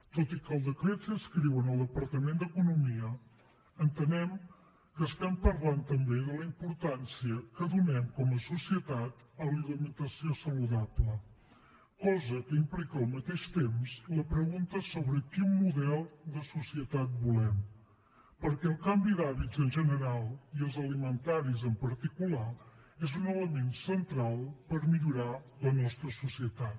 tot i que el decret s’inscriu en el departament d’economia entenem que estem parlant també de la importància que donem com a societat a l’alimentació saludable cosa que implica al mateix temps la pregunta sobre quin model de societat volem perquè el canvi d’hàbits en general i els alimentaris en particular és un element central per millorar la nostra societat